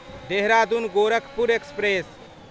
Dehradun Gorakhpur express